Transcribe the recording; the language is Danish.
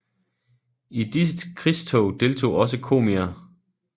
I disse krigstog deltog også komier